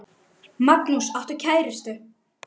Magnús: Áttu kærustu?